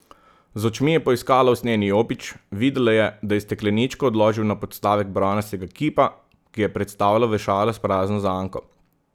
Z očmi je poiskala usnjeni jopič, videla je, da je stekleničko odložil na podstavek bronastega kipa, ki je predstavljal vešala s prazno zanko.